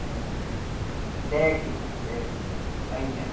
É assim, técnico eh aí.